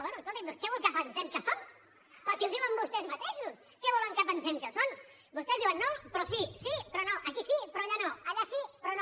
bé escolti’m doncs què vol que pensem que són però si ho diuen vostès mateixos què volen que pensem que són vostès diuen no però sí sí però no aquí sí però allà no allà sí però no